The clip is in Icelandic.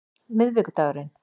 miðvikudagurinn